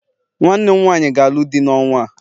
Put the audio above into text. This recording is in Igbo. nwanne m nwanyi ga-alụ di n'ọnwa a